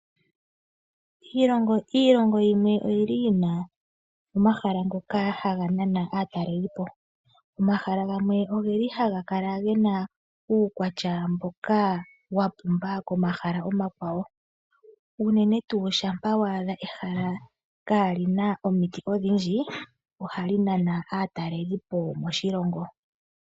Iilongo yimwe oyi li yi na omahala ngoka haga nana aatalelipo. Omahala gamwe oge li haga kala ge na uukwatya mboka wa pumba komahala omakwawo. Unene tuu shampa wa adha ehala kaali na omiti odhindji, ohali nana aatalelipo.